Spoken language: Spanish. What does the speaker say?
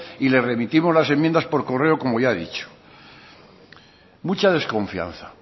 y le remitimos las enmiendas por correo como ya he dicho mucha desconfianza